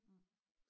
Mh